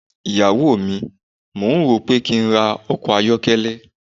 iyawo mi, mò ń rò ó pé kí n ra ọkọ̀ ayọ́kẹ́lẹ́.